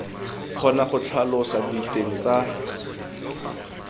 kgona go tlhalosa diteng tsa